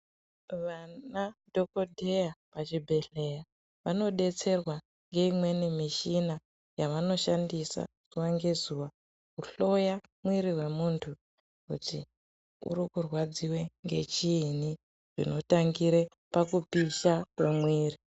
Vana dhokodheya pachibhedhlera vanodetserwa ngeimweni mishina yavanoshandisa zuwa ngezuwa kuhloya mwiri wemuntu kuti urikurwadziwe ngechiini zvinotangire pakupisha mwemwiri.